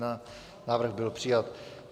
Návrh byl přijat.